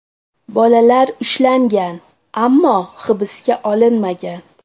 Bolalar ushlangan, ammo hibsga olinmagan.